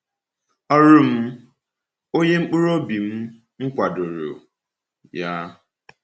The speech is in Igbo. “Ọrụ m,… onye mkpụrụobi m m kwadoro ya!”